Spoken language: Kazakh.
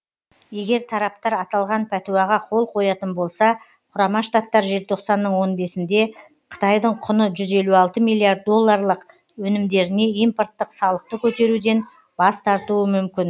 егер тараптар аталған пәтуаға қол қоятын болса құрама штаттар желтоқсанның он бесінде қытайдың құны жүз елу алты миллиард долларлық өнімдеріне импорттық салықты көтеруден бас тартуы мүмкін